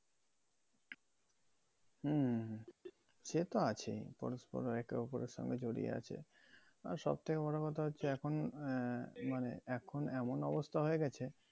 হম, সে তো আছেই। পরস্পর একে অপরের সঙ্গে জড়িয়ে আছে। আর সব থেকে বড় কথা হচ্ছে এখন আহ মানে এখন এমন অবস্থা হয়ে গেছে